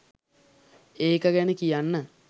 ඒක ගැන කියන්න